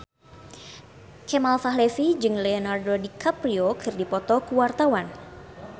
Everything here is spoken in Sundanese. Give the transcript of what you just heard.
Kemal Palevi jeung Leonardo DiCaprio keur dipoto ku wartawan